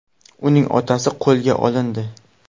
Uning otasi qo‘lga olindi.